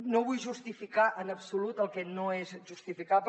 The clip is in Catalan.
no vull justificar en absolut el que no és justificable